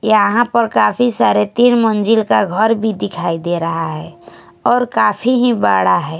यहां पर काफी सारे तीन मंजिल का घर भी दिखाई दे रहा है और काफी ही बड़ा है।